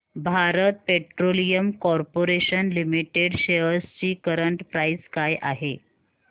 Bharat petroleum corporation limited shares ची current price काय आहे